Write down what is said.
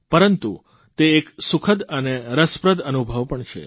પરંતુ તે એક સુખદ અને રસપ્રદ અનુભવ પણ છે